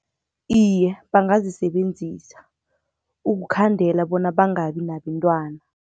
Iye, bangazisebenzisa ukukhandela bona bangabi nabentwana.